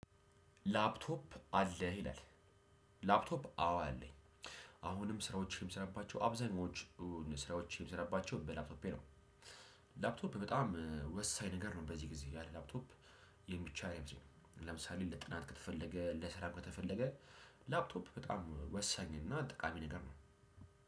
ላፕቶፕ አለ ይላል? ላፕቶፕ አዎ አለኝ። አሁንም ስራዎችን የምሰራባቸው አብዛኛዎቹን ስራዎች የምሰራባቸው በላፕቶፔ ነው። ላፕቶፕ በጣም ወሳኝ ነገር ነው በዚህ ጊዜ ያለ ላፕቶፕ የሚችል አይመስለኝም። ለምሳሌ ለጥናት ከተፈለገ ለስራ ከተፈለገ ላፕቶፕ በጣም ወሳኝ እና ጠቃሚ ነገር ነው።